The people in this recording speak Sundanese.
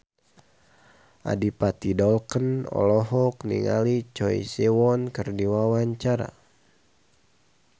Adipati Dolken olohok ningali Choi Siwon keur diwawancara